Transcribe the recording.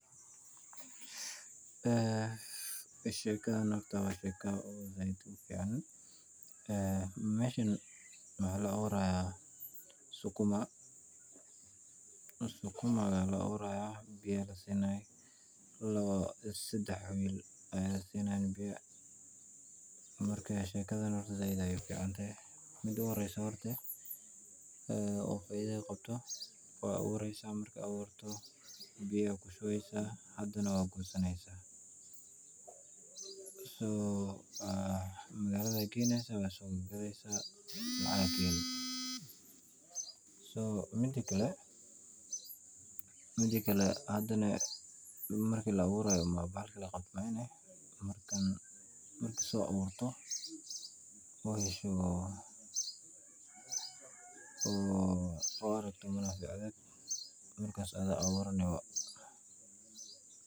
Aa shegadan waa shego aad ufican, aa mashan wax la awurahaya sukuma, sukumaka la awurahyo biya aya la sinayah lawo ama sadax will aya sinahayan biyo, marka shegdan said ayay uficantahay mid u horisoh horti, aa waxay faida qabtoh wad awursah marka awirtoh, biya aya ku shubasah hadanah wad gosanaysah so magalada gaynasah wad sogagadasah, lacag aya ka halisah, so mid kle, midkle hadanah marki la awurayoh bahalki laqabtah markan marki so awurtoh, oo yashtoh, oo argtoh argas adiga aya baa awurani.